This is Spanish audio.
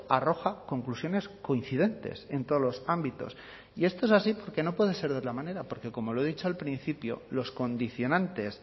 arroja conclusiones coincidentes en todos los ámbitos y esto es así porque no pueden ser de otra manera porque como lo he dicho al principio los condicionantes